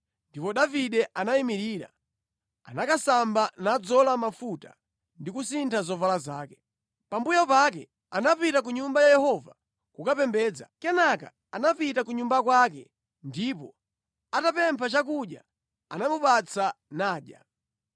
Ndipo Davide anayimirira. Anakasamba nadzola mafuta ndi kusintha zovala zake. Pambuyo pake anapita ku nyumba ya Yehova kukapembedza. Kenaka anapita ku nyumba kwake ndipo atapempha chakudya anamupatsa nadya.